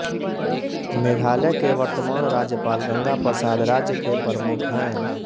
मेघालय के वर्तमान राज्यपाल गंगा प्रसाद राज्य के प्रमुख हैं